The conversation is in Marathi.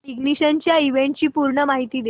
इग्निशन या इव्हेंटची पूर्ण माहिती दे